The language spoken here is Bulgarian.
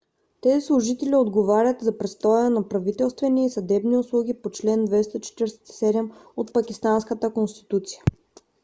тези служители отговарят за предоставянето на правителствени и съдебни услуги по чл. 247 от пакистанската конституция